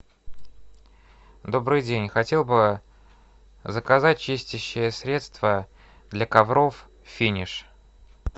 добрый день хотел бы заказать чистящее средство для ковров финиш